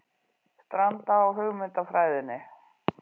Stranda á hugmyndafræðinni